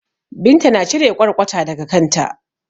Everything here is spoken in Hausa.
Binta na cire ƙwarƙwata daga kanta.